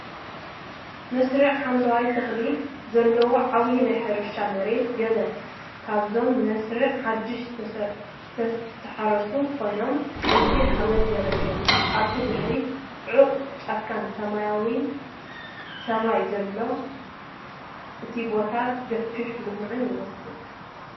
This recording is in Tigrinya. መስርዕ ሓምላይ ተኽልታት ዘለዎ ዓቢይ ናይ ሕርሻ መሬት። ገለ ካብዞም መስርዕ ሓድሽ ዝተሓረሱ ኮይኖም ቀይሕ ሓመድ ዘርእዩ እዮም። ኣብ ድሕሪት ጽዑቕ ጫካን ሰማያዊ ሰማይን ኣሎ። እቲ ቦታ ገፊሕን ልሙዕን ይመስል።